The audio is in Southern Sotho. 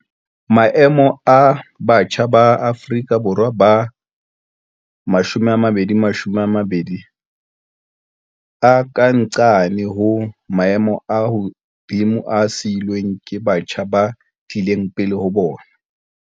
Maemo a batjha ba Afrika Borwa ba 2020 a ka nqane ho maemo a hodimo a siilweng ke batjha ba tlileng pele ho bona.